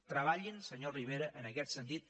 treballin senyor rivera en aquest sentit